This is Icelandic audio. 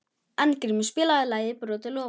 Arngrímur, spilaðu lagið „Brotin loforð“.